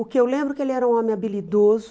O que eu lembro é que ele era um homem habilidoso,